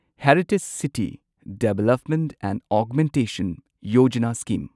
heritage city development and augmentation ꯌꯣꯖꯥꯅꯥ scheme